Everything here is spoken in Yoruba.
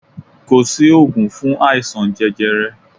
Ko si ògùn fun aisan jẹjẹrẹ